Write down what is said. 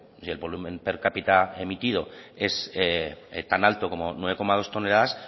y el volumen per cápita emitido es tan alto como nueve coma dos toneladas